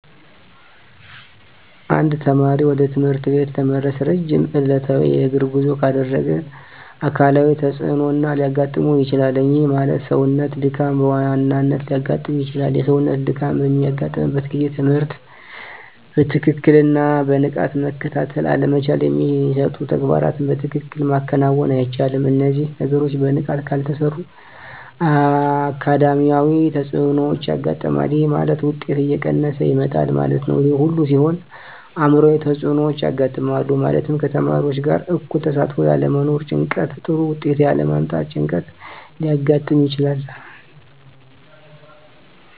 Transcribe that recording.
አንድ ተማሪ ወደ ትምህርት ቤት ለመድረስ ረጅም ዕለታዊ የእግር ጉዞ ካደረገ አካላዊ ተፅዕኖ ሊያጋጥመው ይችላል። ይህ ማለት የሰውነት ድካም በዋናነት ሊያጋጥም ይችላል። የሰውነት ድካም በሚያጋጥምበት ጊዜ ትምህርትን በትክክልና በንቃት መከታተል አለመቻል የሚሰጡ ተግባራትን በትክክል ማከናወን አይቻልም። እነዚህ ነገሮች በንቃት ካልተሰሩ አካዳሚያዊ ተፅዕኖዎች ያጋጥማል። ይህ ማለት ውጤት እየቀነሰ ይመጣል ማለት ነው። ይህ ሁሉ ሲሆን አዕምሯዊ ተፅዕኖዎች ያጋጥማሉ። ማለትም ከተማሪዎች ጋር እኩል ተሳትፎ ያለመኖር ጭንቀት ጥሩ ውጤት ያለ ማምጣት ጭንቀት ሊያጋጥም ይችላል።